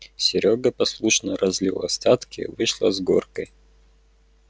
серёга послушно разлил остатки вышло с горкой